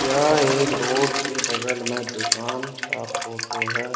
यह एक रोड के बगल में दुकान का फोटो है।